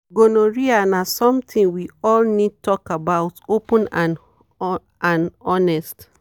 to use protection and and sabi gonorrhea na better responsible behavior.